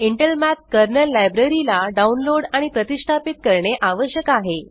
Intel math kernel library ला download आणि प्रतिष्ठापित करणे आवश्यक आहे